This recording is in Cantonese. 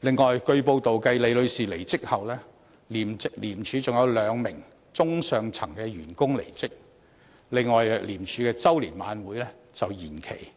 此外，據報道，繼李女士離職後，廉署還有兩名中高層員工離職，而廉署的周年晚宴也延期舉行，